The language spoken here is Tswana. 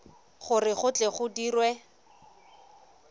gore go tle go dirwe